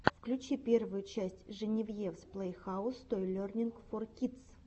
включи первую часть женевьевс плэйхаус той лернинг фор кидс